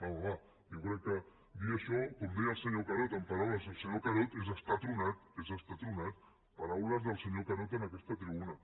va home va jo crec que dir això com deia el senyor carod amb paraules del senyor carod és estar tronat és estar tronat paraules del senyor carod en aquesta tribuna